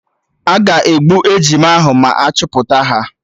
Aga egbu ejima ahụ ma achọpụta ha